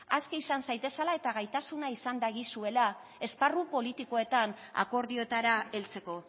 aske izan zaitezala eta gaitasuna izan dagizuela esparru politikoetan akordioetara heltzeko